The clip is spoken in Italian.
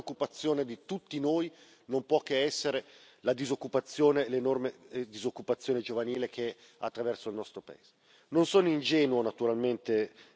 E poi la Garanzia giovani perché la più grande preoccupazione di tutti noi non può che essere la disoccupazione, l'enorme disoccupazione giovanile che attraversa il nostro paese.